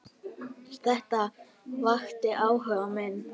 Þetta vakti áhuga minn.